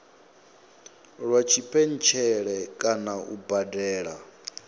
lwa tshipentshele kana u badela